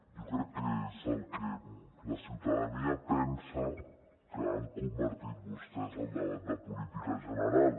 jo crec que és en el que la ciutadania pensa que han convertit vostès el debat de política general